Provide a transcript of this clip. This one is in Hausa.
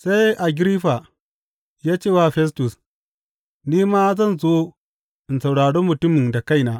Sai Agiriffa ya ce wa Festus, Ni ma zan so in saurari mutumin da kaina.